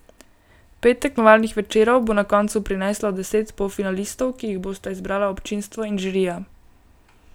Pet tekmovalnih večerov bo na koncu prineslo deset polfinalistov, ki jih bosta izbrala občinstvo in žirija.